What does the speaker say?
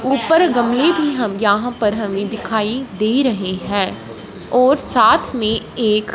ऊपर गमले भी हम यहां पर हमें दिखाई दे रहे हैं और साथ में एक--